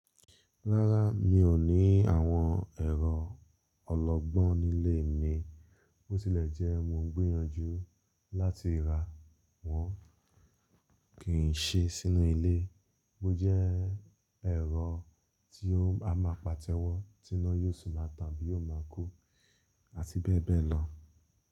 Rárá, mi ò ní àwọn ẹ̀rọ ọlọgbọ́n nílé mi. Bó tí lẹ̀ jẹ́ mo ń gbìyànjú láti ra wọn kí n ṣe sínú ilé. Bo jẹ́ ẹ̀rọ tí o, a máa pàtẹ́wọ́, tí iná yóò sì máa tàn tabi yóò máa kú, àti bẹ́ẹ̀ bẹ́ẹ̀ lọ.